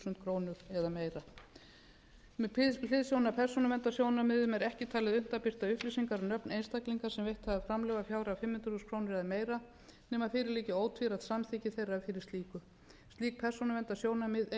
krónur eða meira með hliðsjón af persónuverndarsjónarmiðum er ekki talið unnt að birta upplýsingar um nöfn einstaklinga sem veitt hafa fjárhæð að upphæð fimm hundruð þúsund krónur eða meira nema fyrir liggi ótvírætt samþykki þeirra fyrir slíku slík persónuverndarsjónarmið eiga